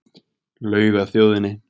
Laug að þjóðinni